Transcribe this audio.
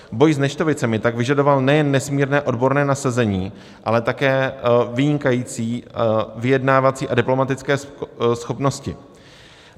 Boj s neštovicemi tak vyžadoval nejen nesmírné odborné nasazení, ale také vynikající vyjednávací a diplomatické schopnosti.